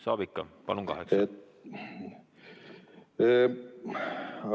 Tohib ikka, kokku kaheksa, palun!